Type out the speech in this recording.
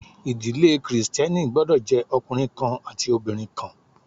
Ìdílé Kristẹni gbọ́dọ̀ jẹ́ ọkùnrin kan àti obìnrin kan